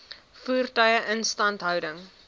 voertuie instandhouding